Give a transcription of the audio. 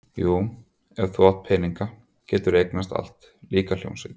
Jú, ef þú átt peninga, geturðu eignast allt, líka hljómsveit